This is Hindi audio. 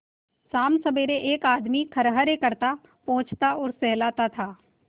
शामसबेरे एक आदमी खरहरे करता पोंछता और सहलाता था